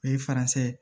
O ye faransɛ ye